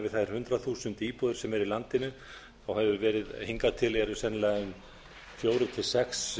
við þær hundrað þúsund íbúðir sem eru í landinu hefur hingað til sennilega verið um fjögur til sex